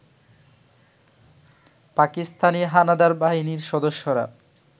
পাকিস্তানি হানাদার বাহিনীর সদস্যরা